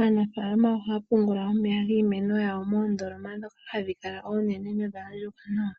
Aanafalama ohaya pungula omeya gawo moondoloma ndhoka hadhi kala oonene nodha andjuka nawa,